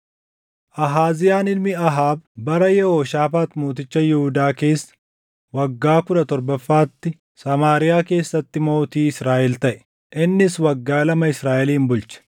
Ahaaziyaan ilmi Ahaab bara Yehooshaafaax mooticha Yihuudaa keessa waggaa kudha torbaffaatti Samaariyaa keessatti mootii Israaʼel taʼe; innis waggaa lama Israaʼelin bulche.